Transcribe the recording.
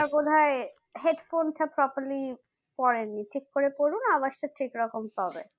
আপনার বোধহয় headphone টা properly পড়েন নি ঠিক করে পড়ুন আওয়াজ টা ঠিক রকম পাবে